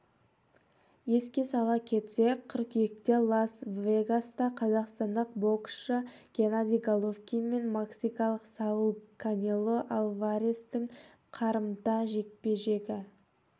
еске сала кетсек қыркүйекте лас-вегаста қазақстандық боксшы геннадий головкин мен мексикалық сауль канело альварестің қарымта жекпе-жегі